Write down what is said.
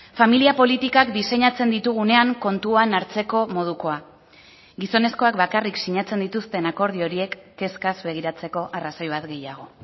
familia politikak diseinatzen ditugunean kontuan hartzeko modukoa gizonezkoak bakarrik sinatzen dituzten akordio horiek kezkaz begiratzeko arrazoi bat gehiago